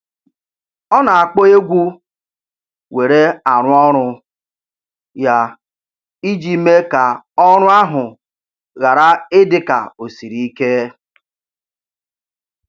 Ọ na-akpọ egwu were arụ ọrụ ya iji mee ka ọrụ ahụ ghara ị dị ka o siri ike.